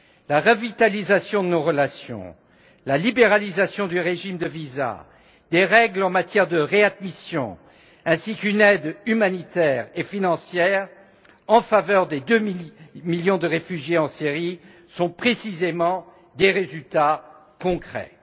La revitalisation de nos relations, la libéralisation du régime de visas, des règles en matière de réadmission, ainsi qu'une aide humanitaire et financière en faveur des 2 millions de réfugiés en Syrie sont précisément des résultats concrets.